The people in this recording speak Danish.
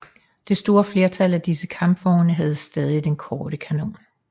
Det store flertal af disse kampvogne havde stadig den korte kanon